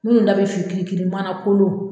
Munnu da be fin kiri kiri mana kolon